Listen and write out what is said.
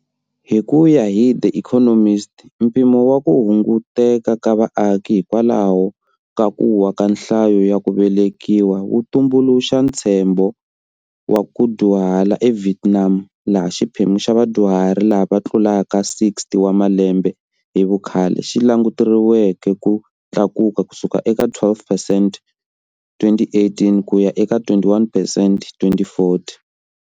Hi ku ya hi"The Economist," mpimo wa ku hunguteka ka vaaki hikwalaho ka ku wa ka nhlayo ya ku velekiwa wu tumbuluxa ntshembo wa ku dyuhala eVietnam laha xiphemu xa vadyuhari lava tlulaka 60 wa malembe hi vukhale xi languteriweke ku tlakuka ku suka eka 12 percent, 2018, ku ya eka 21 percent, 2040.